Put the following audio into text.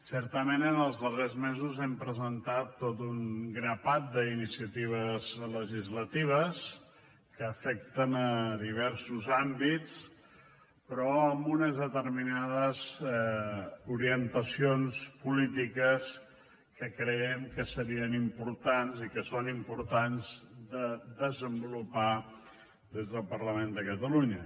certament en els darrers mesos hem presentat tot un grapat d’iniciatives legislatives que afecten diversos àmbits però amb unes determinades orientacions polítiques que creiem que serien importants i que són importants de desenvolupar des del parlament de catalunya